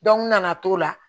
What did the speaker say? n nana to la